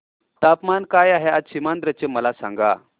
तापमान काय आहे आज सीमांध्र चे मला सांगा